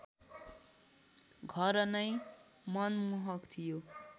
घर नै मनमोहक थियो